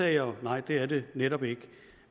jeg nej det er det netop ikke